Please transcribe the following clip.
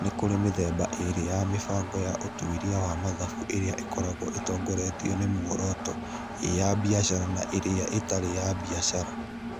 Nĩ kũrĩ mĩthemba ĩĩrĩ ya mĩbango ya ũtuĩria wa mathabu ĩrĩa ĩkoragwo ĩtongoretio nĩ muoroto, ĩĩ nĩ ya biacara na ĩrĩa ĩtarĩ ya biacara.